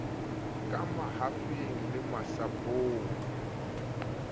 ka mahafing le masapong a